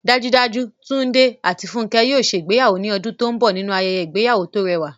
Dájúdájú, Túndé àti Fúnkẹ́ yóò ṣe ìgbéyàwó ní ọdún tó ń bọ̀ nínú ayẹyẹ ìgbéyàwó tó rẹwà